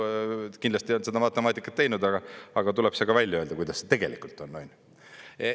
Kindlasti nad ei olnud seda matemaatikat teinud, aga tuleb see ka välja öelda, kuidas see tegelikult on, on ju.